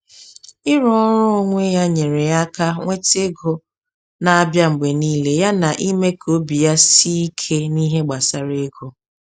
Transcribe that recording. Ịrụ ọrụ onwe ya nyere ya aka nweta ego na-abịa mgbe niile yana ime ka obi ya sie ike n’ihe gbasara ego.